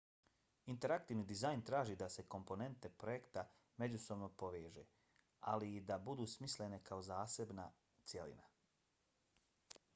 interaktivni dizajn traži da se komponente projekta međusobno poveži ali i da budu smislene kao zasebna cjelina